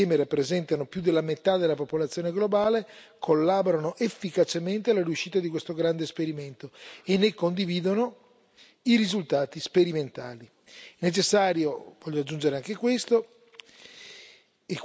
A Cadarache, infatti, le più grandi potenze mondiali, paesi che insieme rappresentano più della metà della popolazione globale, collaborano efficacemente alla riuscita di questo grande esperimento e ne condividono i risultati sperimentali.